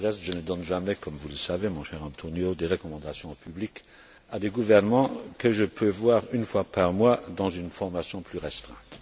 Pour le reste, je ne donne jamais comme vous le savez, mon cher Antonio López Istúriz White des recommandations en public à des gouvernements que je peux voir une fois par mois dans une formation plus restreinte.